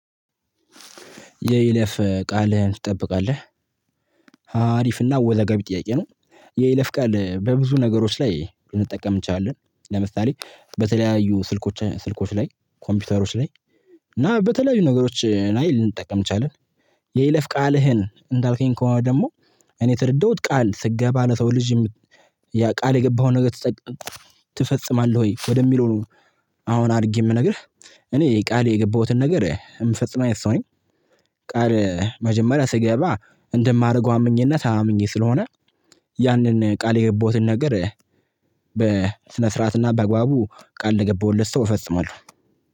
የይለፍ ቃልህን ትጠብቃለህ? አሪፍና አወዛጋቢ ጥያቄ ነው። የይለፍ ቃል በብዙ ነገሮች ላይ ልንጠቀም እንችላለን ለምሳሌ በተለያዩ ስልኮች ስልኮች ላይ ኮምፒውተሮች ላይ እና በተለያዩ ነገሮች ላይ ልንጠቀም እንችላለን። የይለፍ ቃልህን እንዳልከኝ ከሆነ ደግሞ እኔ የተረዳሁት ቃል ስገባ ለሰው ልጅ የምት ያ ቃል የገባኸውን ነገር ትፈጽማለህ ወይ ወደሚለው ነው? አሁን አድርጌ ምነግርህ እኔ ቃል የገባሁትን ነገር እምፈጽም አይነት ሰው ነኝ። ቃል መጀመሪያ ስገባ እንደማደርገው አምኜና ታምኜ ስለሆነ ያንን ቃል የገባሁትን ነገር በስነ ስርዓትና በአግባቡ ቃል ለገባሁለት ሰው እፈጽማለሁ።